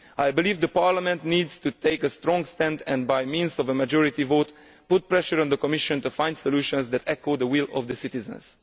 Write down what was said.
I believe Parliament needs to take a strong stand and, by means of a majority vote, put pressure on the Commission to find solutions that echo the will of the citizens.